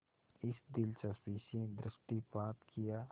इस दिलचस्पी से दृष्टिपात किया